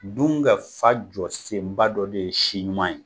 Dun ka fa jɔsenba dɔ de ye si ɲuman ye.